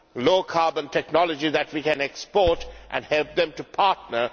low carbon technology that we can export and help them to partner.